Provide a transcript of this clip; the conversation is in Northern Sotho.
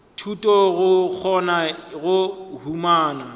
thuto go kgona go humana